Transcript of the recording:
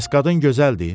Bəs qadın gözəldir?